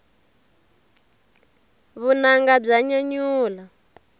vunanga bya nyanyula